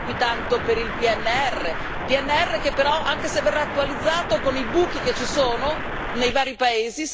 PNR che però, anche se verrà attualizzato, con i buchi che ci sono nei vari paesi, sarà una coperta piena di buchi.